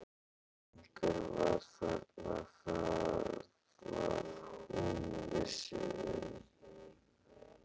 En einhver var þarna, það var hún viss um.